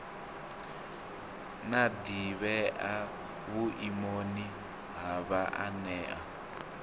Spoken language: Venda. na ḓivhea vhuimoni ha vhaanewa